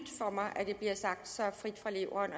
for mig at det bliver sagt så frit fra leveren